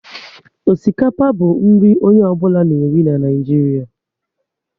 Osikapa bụ nri onye ọ bụla na eri na Naịjiria